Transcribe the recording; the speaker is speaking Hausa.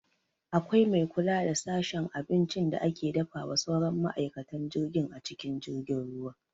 Akwai mai kula da sashen abincin da ake dafawa sauran ma'aikatan jirgin a cikin jirgin ruwa